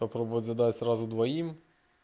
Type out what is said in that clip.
попробовать задать сразу двоим